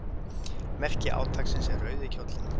Merki átaksins er rauði kjóllinn.